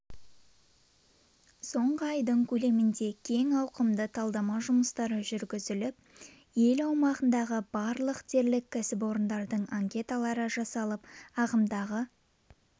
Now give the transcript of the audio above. соңғы айдың көлемінде кең ауқымды талдама жұмыстары жүргізіліп ел аумағындағы барлық дерлік кәсіпорындардың анкеталары жасалып ағымдағы